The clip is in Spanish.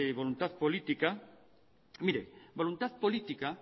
voluntad política mire voluntad política